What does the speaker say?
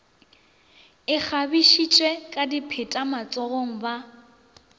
ikgabišitše ka dipheta matsogong ba